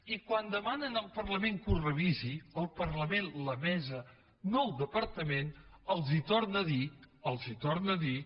i quan demanen al parlament que ho revisi el parlament la mesa no el departament els torna a dir els torna a dir